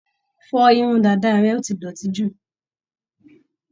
Fọ irun dàda rẹ, ó ti dọ̀tí jù.